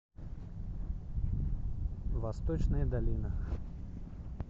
восточная долина